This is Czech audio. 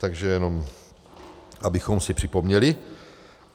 Takže jenom abychom si připomněli.